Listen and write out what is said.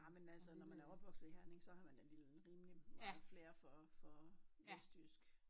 Nej men altså når man er opvokset i Herning så har man da vel rimelig meget flair for for vestjysk